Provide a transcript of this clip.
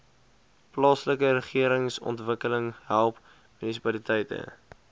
plaaslikeregeringsontwikkeling help munisipaliteite